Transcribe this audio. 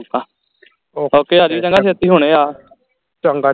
okay ਆਜਾ ਚੰਗਾ ਛੇਤੀ ਹੁਣੇ ਆ